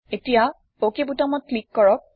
এতিয়া অক বুতামত ক্লিক কৰক